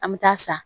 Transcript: An bɛ taa sa